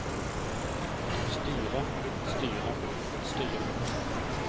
styret styret styret